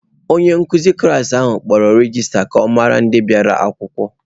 Onye nkụzi klas ahụ kpọrọ regista ka ọ mara ndị bịara akwụkwọ.